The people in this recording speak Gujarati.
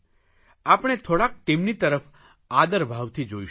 આપણે થોડાક તેમની તરફ આદરભાવથી જોઇશું